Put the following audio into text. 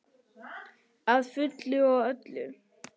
Að fullu og öllu.